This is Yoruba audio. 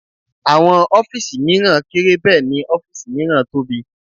Àwọn ọ́fìsì mìíràn kéré Bẹ́ẹ̀ni ọ́fìsì miran tóbi